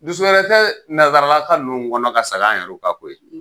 Dusu wɛrɛ tɛ nansaralaka ninnu kɔnɔ ka sag'an yɛruw kan koyi.